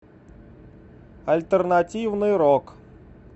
альтернативный рок